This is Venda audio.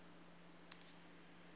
i tshi khou ralo u